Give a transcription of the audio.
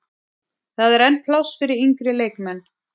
Það er enn pláss fyrir yngri leikmenn.